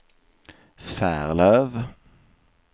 Färlöv